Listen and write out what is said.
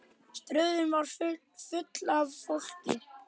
Stöðin var full af fólki.